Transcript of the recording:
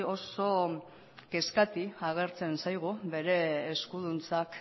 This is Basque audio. oso kezkati agertzen zaigu bere eskuduntzak